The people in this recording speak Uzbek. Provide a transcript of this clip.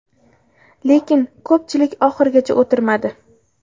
Lekin ko‘pchilik oxirigacha o‘tirmadi.